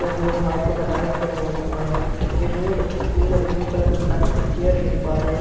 में हम लोग वाइट कलर का टाइल्स बैठा हुआ देख पा रहे हैं जो रेड ग्रीन और ब्लू कलर के प्लास्टिक के चेयर देख पा रहे हैं।